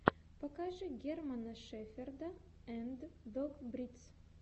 покажи германа шеферда анд дог бридс